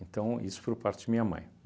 Então, isso por parte de minha mãe.